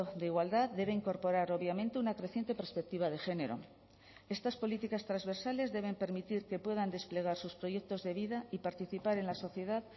de igualdad debe incorporar obviamente una creciente perspectiva de género estas políticas transversales deben permitir que puedan desplegar sus proyectos de vida y participar en la sociedad